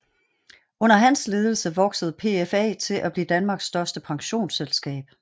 Under hans ledelse voksede PFA til at blive Danmarks største pensionsselskab